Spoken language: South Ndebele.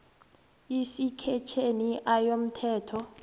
isektjheni a yomthetho